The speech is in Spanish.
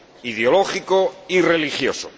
ideológico y religioso.